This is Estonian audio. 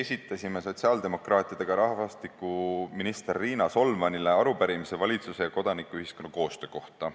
Esitasime sotsiaaldemokraatidega rahvastikuminister Riina Solmanile arupärimise valitsuse ja kodanikuühiskonna koostöö kohta.